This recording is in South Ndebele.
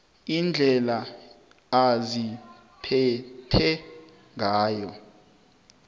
indlela aziphethe ngayo